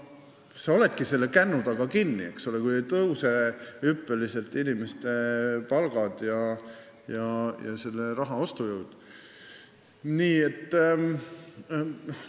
Sa oledki selle kännu taga kinni, kui inimeste palgad ja raha ostujõud hüppeliselt ei tõuse.